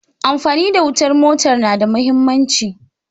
Amfani da wutar motar na da mahimmanci.